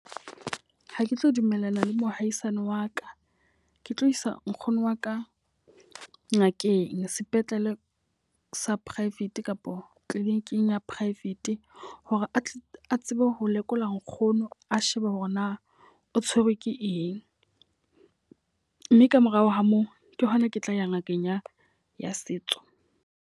Ha ke tlo dumellana le mohaisane wa ka. Ke tlo isa nkgono wa ka ngakeng sepetlele sa private kapa clinic-ing ya private hore a tle a tsebe ho lekola nkgono a shebe hore na o tshwerwe ke eng. Mme ka morao ho moo ke hona ke tla ya ngakeng ya ya setso.